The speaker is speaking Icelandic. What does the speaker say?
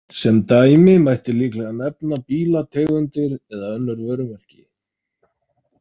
Sem dæmi mætti líklega nefna bílategundir eða önnur vörumerki.